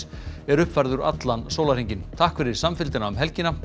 er uppfærður allan sólarhringinn takk fyrir samfylgdina um helgina